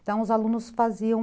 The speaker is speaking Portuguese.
Então, os alunos faziam